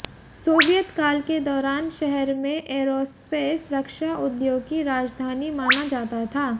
Soviet काल के दौरान शहर में एयरोस्पेस रक्षा उद्योग की राजधानी माना जाता था